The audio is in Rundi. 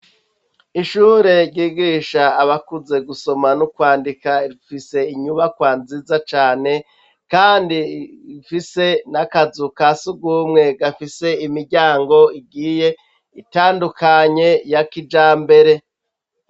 Ishure ryigisha abakuze gusoma no kwandika rifise inyubakwa nziza cane kandi ifise n'akazu kasugumwe gafise imiryango igiye itandukanye ya kijambere.